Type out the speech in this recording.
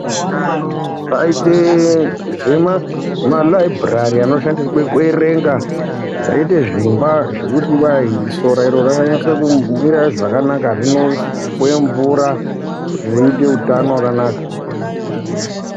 Kwaite malaibhurai anoshandirwe kuerenga kozoite zvimba dzinoshandiswe zvekuti sora iri ringanasa kumwira zvakanaka uye mvura kuti zviite utano wakanaka